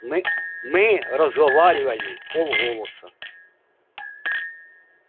мы мы разговаривали вполголоса